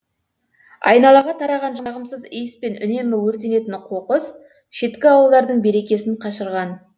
айналаға тараған жағымсыз иіс пен үнемі өртенетін қоқыс шеткі ауылдардың берекесін қашырған